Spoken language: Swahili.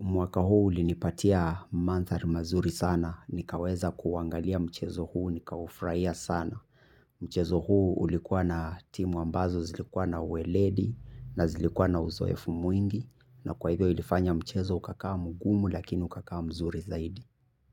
Mwaka huu ulinipatia mandhari mazuri sana nikaweza kuuangalia mchezo huu nikaufurahia sana. Mchezo huu ulikuwa na timu ambazo zilikuwa na uweledi na zilikuwa na uzoefu mwingi na kwa hivyo ilifanya mchezo ukakaa mgumu lakini ukakaa mzuri zaidi.